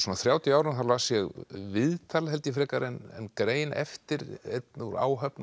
þrjátíu árum þá las ég viðtal frekar en grein eftir einn úr áhöfn